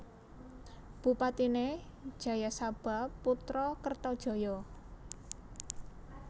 Bupatiné Jayasabha putra Kertajaya